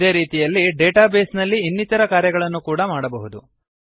ಇದೇ ರೀತಿಯಲ್ಲಿ database ನಲ್ಲಿ ಇನ್ನಿತರ ಕಾರ್ಯಗಳನ್ನು ಕೂಡ ಮಾಡಬಹುದು